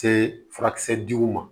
Se furakisɛ diliw ma